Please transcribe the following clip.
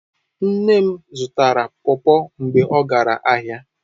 Nne m zutara pawpaw mgbe o gara ahia